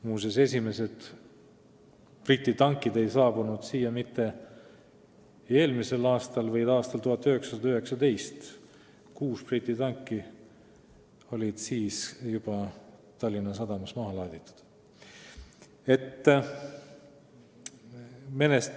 Muuseas, esimesed Briti tankid ei saabunud siia mitte eelmisel, vaid 1919. aastal – kuus Briti tanki oli juba siis Tallinna sadamas maha laaditud.